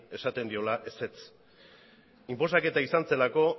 esaten diola ezetz inposaketa izan zelako